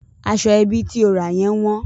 Aṣọ ẹbí tí o ra yẹn wọ́n.